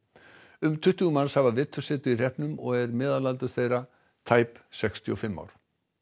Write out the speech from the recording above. um tuttugu manns hafa vetursetu í hreppnum og er meðalaldur þeirra tæp sextíu og fimm ár